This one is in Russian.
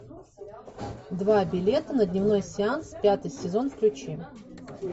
два билета на дневной сеанс пятый сезон включи